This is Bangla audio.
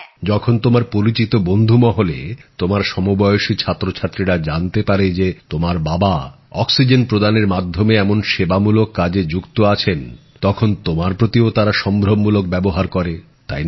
যখন তোমার পরিচিত বন্ধু মহলে তোমার সমবয়সী ছাত্রছাত্রীরা জানতে পারে যে তোমার বাবা অক্সিজেন পরিবহনের মাধ্যমে এমন সেবামূলক কাজে যুক্ত আছেন তখন তোমার প্রতিও তারা সম্ভ্রমসুলভ ব্যবহার করে তাই না